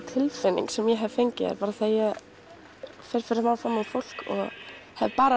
tilfinning sem ég hef fengið þegar ég fer fyrir framan fólk og hef bara